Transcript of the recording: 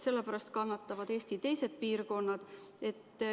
Selle pärast kannatavad Eesti teised piirkonnad.